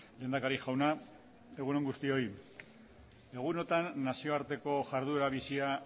lehendakari jauna egun on guztioi egunotan nazioarteko jarduera bizia